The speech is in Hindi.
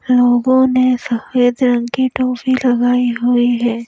लोगों ने सफेद रंग की टोपी लगाई हुई है।